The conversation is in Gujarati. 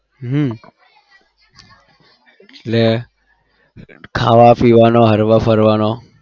હમ એટલે ખાવા-પીવાનો, હરવા-ફરવાનો